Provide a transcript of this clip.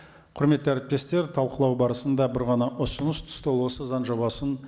құрметті әріптестер талқылау барысында бір ғана ұсыныс түсті ол осы заң жобасын